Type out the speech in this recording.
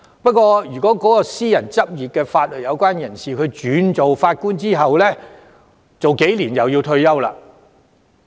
不過，私人執業的法律界人士轉任法官後數年便要退休了。